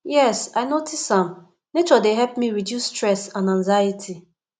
yes i notice am nature dey help me reduce stress and anxiety